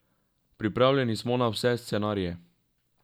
Pripravljeni smo na vse scenarije.